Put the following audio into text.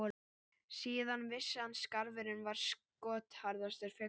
Síðan vissi hann að skarfurinn var skotharðastur fugla.